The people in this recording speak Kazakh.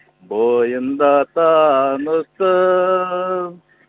бойында таныстым